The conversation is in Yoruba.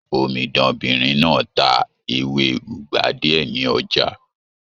Omidanbinrin náà ta ewé ugba diẹ ní ọjà.